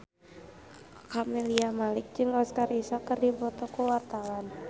Camelia Malik jeung Oscar Isaac keur dipoto ku wartawan